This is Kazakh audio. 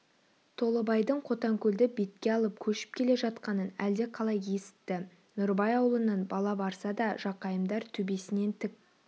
толыбайдың қотанкөлді бетке алып көшіп келе жатқанын әлде қалай есітті нұрыбай аулынан бала барса да жақайымдар төбесінен тік